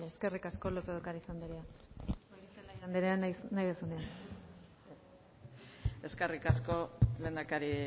bale eskerrik asko lópez de ocariz andrea goirizelaia anderea nahi duzunean eskerrik asko lehendakari